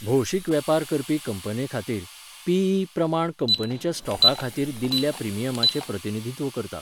भौशीक वेपार करपी कंपनेखातीर, पी.ई., प्रमाण कंपनीच्या स्टॉका खातीर दिल्ल्या प्रिमियमाचें प्रतिनिधित्व करता.